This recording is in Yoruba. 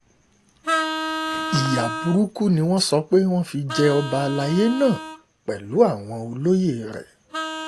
ìyá burúkú ni wọ́n sọ pé wọ́n fi jẹ ọba àlàyé náà pẹ̀lú àwọn olóye rẹ̀